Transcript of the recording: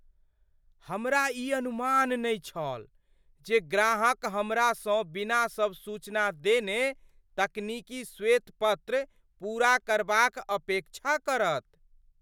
हमरा ई अनुमान नहि छल जे ग्राहक हमरासँ बिना सब सूचना देने तकनीकी श्वेत पत्र पूरा करबाक अपेक्षा करत।